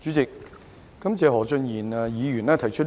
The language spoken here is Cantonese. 主席，感謝何俊賢議員提出這項議案。